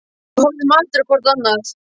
Við horfum aldrei á hvort annað.